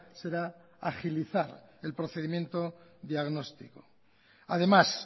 será agilizar el procedimiento diagnóstico además